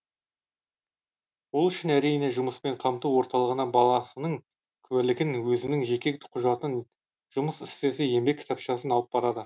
ол үшін әрине жұмыспен қамту орталығына баласының куәлігін өзінің жеке құжатын жұмыс істесе еңбек кітапшасын алып барады